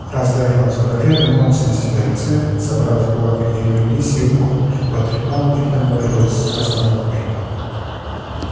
раз даже он с выражением алчности на лице забрал в кулак её лисье ухо потрепал и проговорил с расстановкой